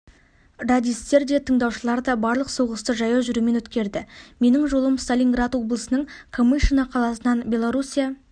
радистер де тыңдаушылар да барлық соғысты жаяу жүрумен өткерді менің жолым сталинград облысының камышино қаласынан белоруссия